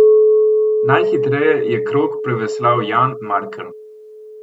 Najhitreje je krog preveslal Jan Markelj.